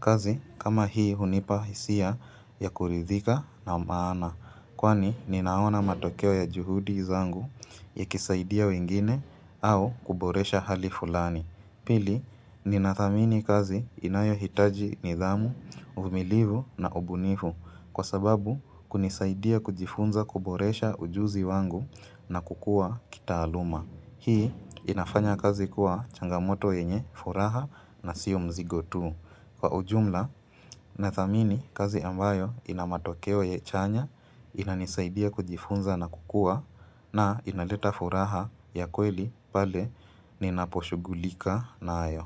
Kazi kama hii hunipa hisia ya kuridhika na maana, kwani ninaona matokeo ya juhudi zangu yakisaidia wengine au kuboresha hali fulani. Pili, Nina thamini kazi inayohitaji nidhamu, uvumilivu na ubunivu kwa sababu kunisaidia kujifunza kuboresha ujuzi wangu na kukua kitaaluma. Hii, inafanya kazi kuwa changamoto yenye furaha na siyo mzigo tu. Kwa ujumla nathamini kazi ambayo ina matokeo ya chanya inanisaidia kujifunza na kukua na inaleta furaha ya kweli pale ninaposhughulika nayo.